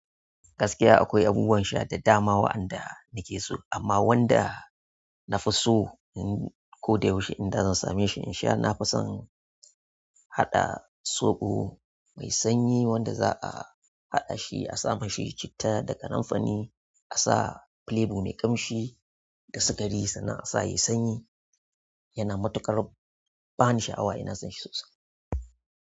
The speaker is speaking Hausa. Gaskiya akwai abubuwan sha da dama waɗanda nake so, amma wanda na fi so in koda yaushe inda zan same shi in sha, na fi son haɗa soɓo mai sanyi wanda za a haɗa shi, a sama mishi shi citta da kananfari, a sa plebo mai ƙamshi da sikari sannan a sa yayi sanyi. Yana matuƙar bani sha'awa ina sonshi sosai.